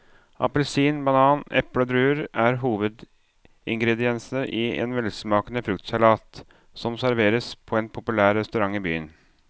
Appelsin, banan, eple og druer er hovedingredienser i en velsmakende fruktsalat som serveres på en populær restaurant i byen.